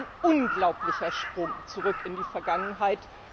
Es ist ein unglaublicher Sprung zurück in die Vergangenheit.